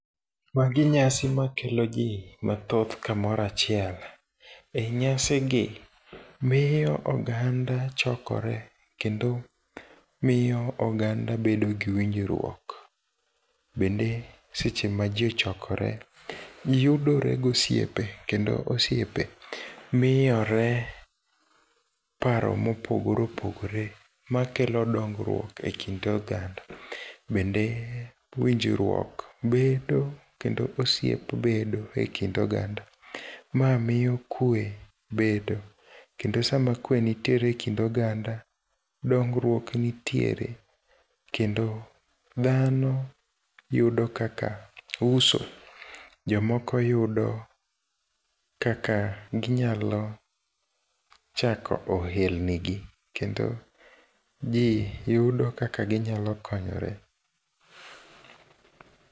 Magi nyasi makelo jii mathoth kamoro achiel. E nyasi gi, miyo oganda chokore kendo miyo oganda bedo gi winjruok, bende seche ma jii ochokore, jii yudore gi osiepe kendo osiepe miyore paro mopogore opogore makelo dongruok e kind oganda, bende winjruok bedo, kendo osiep bedo e kind oganda, ma miyo kwee bedo kendo sama kwee nitiere e kind oganda, dongruok nitiere kendo dhano yudo kakak uso, jomoko yudo kaka ginyalo chako ohelnigi, kendo jii yudo kaka ginyalo konyre.